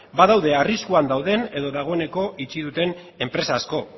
badaude arriskuan dauden edo dagoeneko itxi duten enpresa asko